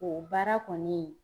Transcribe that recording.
O baara kɔni.